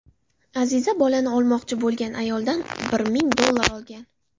Aziza bolani olmoqchi bo‘lgan ayoldan bir ming dollar olgan.